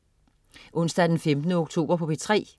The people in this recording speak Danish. Onsdag den 15. oktober - P3: